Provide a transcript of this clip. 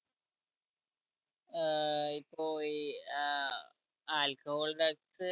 ഏർ ഇപ്പൊ ഈ ഏർ alcohol drugs